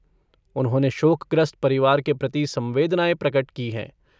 उन्होंने शोकग्रस्त परिवार के प्रति संवेदनाएं प्रकट की हैं।